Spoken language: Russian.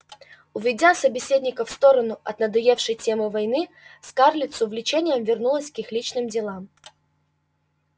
уведя собеседников в сторону от надоевшей темы войны скарлетт с увлечением вернулась к их личным делам